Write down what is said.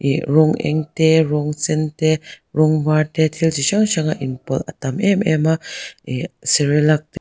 ih rawng eng te rawng sen te rawng var te thil chi hrang hrang a inpawlh a tam em em a ih cerelac --